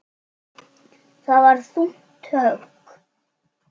Það var þungt högg.